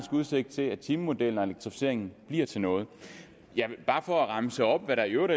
udsigt til at timemodellen og elektrificeringen bliver til noget bare for at remse op hvad der i øvrigt